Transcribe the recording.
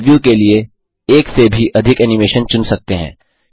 आप प्रिव्यू के लिए एक से भी अधिक एनिमेशन चुन सकते हैं